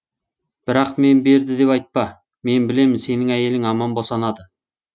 бірақ мен берді деп айтпа мен білемін сенің әйелің аман босанады